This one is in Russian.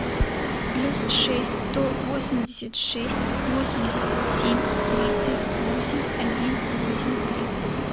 плюс шесть сто восемьдесят шесть восемьдесят семь тридцать восемь один восемь три